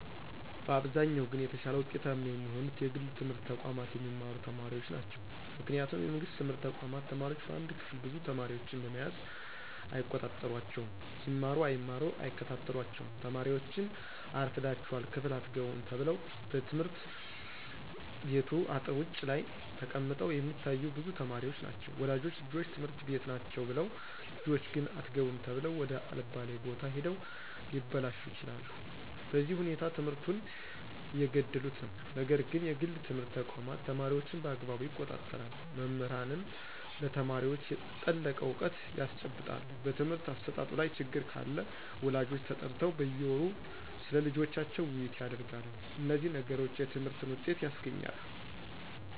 በአብዛኛው ግን የተሻለ ውጤታማ የሚሆኑት የግል ትምህርት ተቋማት የሚማሩ ተማሪዎች ናቸው ምክንያቱም የመንግስት ትምህርት ተቋማት ተማሪዎች በአንድ ክፍል ብዙ ተማሪዎችን በመያዝ አይቆጣጠሯቸውም ይማሩ አይማሩ አይከታተሏቸውም ተማሪዎችን አርፍዳችሗል ክፍል አትገቡም ተብለው በየትምህርት ቤቱ አጥር ውጭ ላይ ተቀምጠው የሚታዮ ብዙ ተማሪዎች ናቸው ወላጆች ልጆች ትምህርት ቤት ናቸው ብለው ልጆች ግን አትገቡም ተብለው ወደ አለባሌ ቦታ ሂደው ሊበላሹ ይችላሉ በዚህ ሁኔታ ትምህርቱን እየገደሉት ነው ነገር ግን የግል ትምህርት ተቋማት ተማሪዎችን በአግባቡ ይቆጣጠራሉ መምህራንም ለተማሪዎች የጠለቀ እውቀት ያስጨብጣሉ በትምህርት አሰጣጡ ላይ ችግር ካለ ወላጆች ተጠርተው በየወሩ ስለልጆቻቸው ውይይት ያደርጋሉ እነዚህ ነገሮች የትምህርትን ውጤት ያስገኛሉ